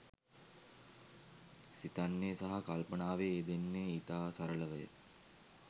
සිතන්නේ සහ කල්පනාවේ යෙදෙන්නේ ඉතා සරලවය.